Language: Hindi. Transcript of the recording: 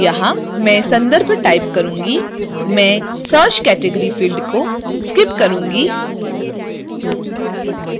तो यहां मैं संदर्भ type करुँगी मैं search category field को skip करुँगी